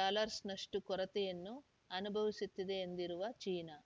ಡಾಲಱ್ಸ್‌ನಷ್ಟು ಕೊರತೆಯನ್ನು ಅನುಭವಿಸುತ್ತಿದೆ ಎಂದಿರುವ ಚೀನಾ